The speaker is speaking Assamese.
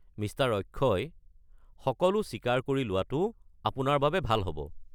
মিষ্টাৰ অক্ষয়, সকলো স্বীকাৰ কৰি লোৱাটো আপোনাৰ বাবে ভাল হ'ব।